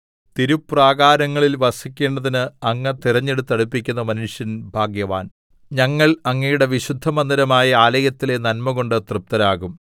തിരുപ്രാകാരങ്ങളിൽ വസിക്കേണ്ടതിന് അങ്ങ് തിരഞ്ഞെടുത്ത് അടുപ്പിക്കുന്ന മനുഷ്യൻ ഭാഗ്യവാൻ ഞങ്ങൾ അങ്ങയുടെ വിശുദ്ധമന്ദിരമായ ആലയത്തിലെ നന്മകൊണ്ട് തൃപ്തരാകും